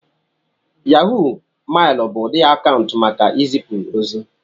Yahó mailu bụ ụdị akaụntụ maka izipu ozi